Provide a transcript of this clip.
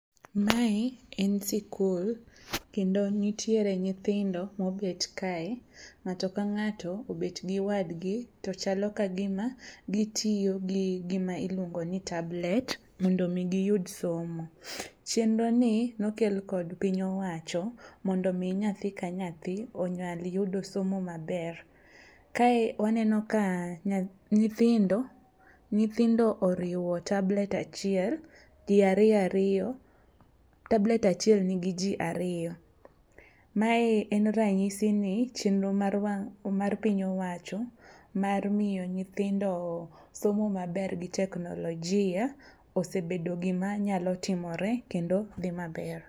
Mae en sikul kendo nitiere nyithindo mobet kae. Ng'ato ka ng'ato obet gi wadgi to chalo ka gima gitiyo gi gima iluongo ni tablet mondo giyud somo. Chienroni nokel kod piny owacho, mondo mi nyathi ka nyathi onyal yudo somo maber . Kae waneno ka nyithindo oriwo tablet achiel ji ariyoariyo, tablet achiel nigi ji ariyo. Mae en ranyisi ni chienro mar piny owacho mar miyo nyithindo somo maber gi teknolojia osebedo gima nyalo timore kendo dhi maber.